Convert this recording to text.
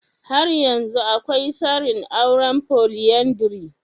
Har yanzu akwai sarin aure folyandry?